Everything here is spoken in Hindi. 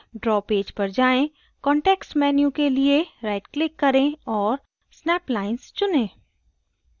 draw पेज पर जाएँ context menu के लिए rightclick करें और snap lines चुनें